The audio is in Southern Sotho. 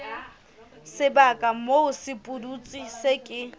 sebaka moo sepudutsi se ke